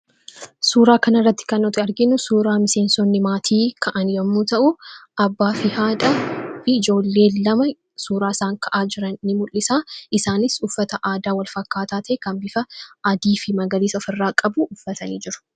Suuraa kanarratti kan nuti arginu, suuraa miseensonni maatii ka'an yommuu ta'u abbaafi haadha fi ijoollee lama suuraa isaan ka'aa jiran ni mul'isa isaanis uffata wal fakkaataa bifa adiifi magariisa ofirraa qabu uffatanii jiru.